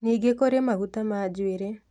Ningĩ kũrĩ maguta ma njuĩrĩ